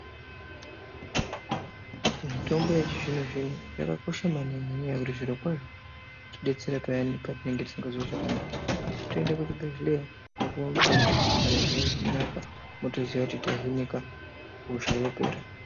Mitombo yechi zvino zvino yaka kosha maningi nenya yekuti zviro kwazvo inoti detsera payani pa tinenge tisi ngazwi zvakanaka tinoende ku zvibhedhleya ko puwa mutombo zviro zvonaka motoziya kuti ta hinika hosha yapera.